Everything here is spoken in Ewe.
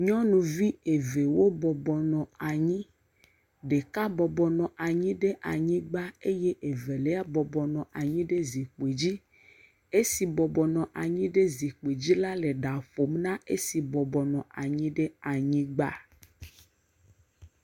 Nyɔnuvi evewo bɔbɔnɔ anyi. Ɖeka bɔbɔnɔ anyi ɖe anyigba eye evelia bɔbɔnɔ anyi ɖe zikpui dzi. Esi bɔbɔnɔ anyi ɖe zikpui dzi la le ɖa ƒom na esi bɔbɔnɔ anyi ɖe anyiogba.